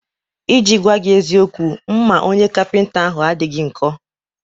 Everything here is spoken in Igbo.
I ji gwaa gị eziokwu, mma onye kapịnta ahụ adịghọ nkọ